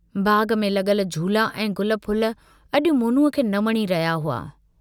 बाग़ में लगुल झूला ऐं गुलफुल अजु मोनूअ खे न वणी रहिया हुआ।